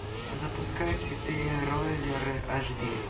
запускай святые роллеры аш ди